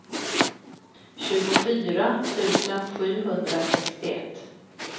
tjugofyra tusen sjuhundrasextioett